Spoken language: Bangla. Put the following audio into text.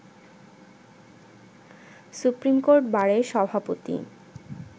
সুপ্রিমকোর্ট বারের সভাপতি